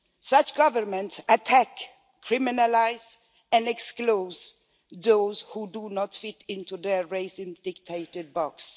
Such governments attack, criminalise and exclude those who do not fit into their racially dictated boxes.